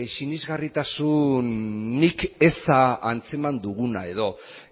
sinesgarritasun nik eza antzeman duguna edo